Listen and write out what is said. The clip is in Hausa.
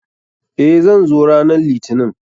Eh, zan zo ranan litinin.